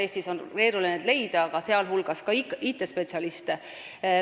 Eestis on neid keeruline leida, sh IT-spetsialiste.